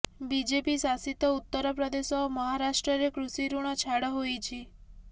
BJP ଶାସିତ ଉତ୍ତରପ୍ରଦେଶ ଓ ମହାରାଷ୍ଟ୍ରରେ କୃଷି ଋଣ ଛାଡ ହୋଇଛି